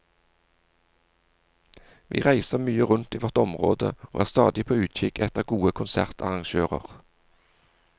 Vi reiser mye rundt i vårt område og er stadig på utkikk etter gode konsertarrangører.